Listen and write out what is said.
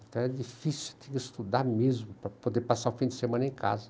Então, era difícil, tinha que estudar mesmo para poder passar o fim de semana em casa.